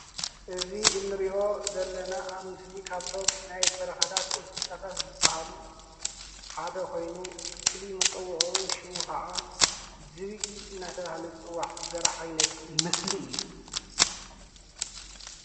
እዚ እንሪኦ ዘለና አብ ምስሊ ካብዞም ናይ በረኻታት እንስሳት ዝበሃሉ ሓደ ኮይኑ ፍሉይ መፀውዒዑ ሽሙ ካዓ ዝብኢ እናተባሃለ ዝፅዋዕ ዘርኢ ዓይነት ምስሊ እዩ።